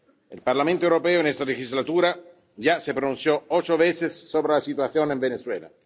El Parlamento Europeo en esta legislatura ya se pronunció ocho veces sobre la situación en Venezuela.